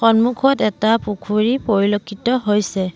সম্মুখত এটা পুখুৰী পৰিলক্ষিত হৈছে।